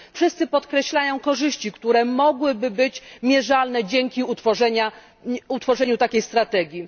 Wszyscy podkreślają korzyści, które mogłyby być mierzalne dzięki utworzeniu takiej strategii.